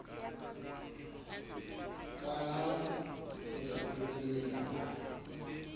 ka ha o fetotswe melawana